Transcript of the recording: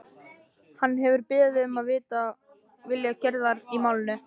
Hann hefur beðið eftir að vita vilja Gerðar í málinu.